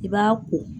I b'a ko